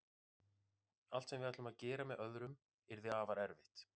Allt sem við ætlum að gera með öðrum yrði afar erfitt.